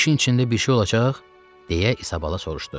işin içində bir şey olacaq, deyə İsa Bala soruşdu.